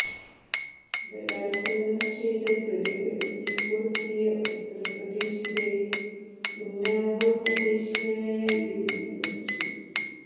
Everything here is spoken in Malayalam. ബലാത്സംഗം ചെയ്ത പ്രതികൾ തീ കൊളുത്തിയ ഉത്തർപ്രദേശിലെ ഉന്നാവോ സ്വദേശിയായ യുവതി മരിച്ചു